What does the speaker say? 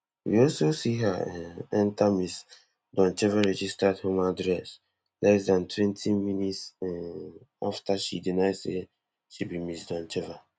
we also see her um enta ms doncheva registered home address less dan twenty minutes um afta she deny say she be ms doncheva